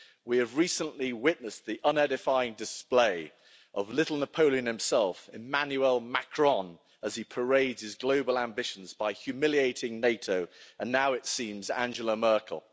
We have recently witnessed the unedifying display of little Napoleon himself, Emmanuel Macron, as he parades his global ambitions by humiliating NATO, and now it seems, Angela Merkel.